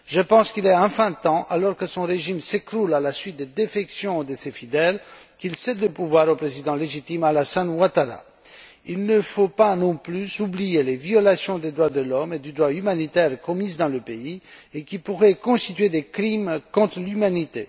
Je pense qu'il est enfin temps, alors que son régime s'écroule à la suite des défections de ses fidèles, qu'il cède le pouvoir au président légitime, Alassane Ouattara. Il ne faut pas non plus oublier les violations des droits de l'homme et du droit humanitaire commises dans le pays, qui pourraient constituer des crimes contre l'humanité.